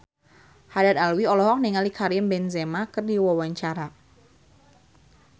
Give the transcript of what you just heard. Haddad Alwi olohok ningali Karim Benzema keur diwawancara